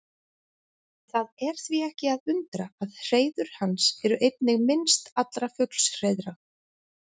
Það er því ekki að undra að hreiður hans eru einnig minnst allra fuglshreiðra.